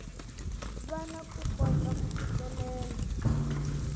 vana ku kota ku fikelela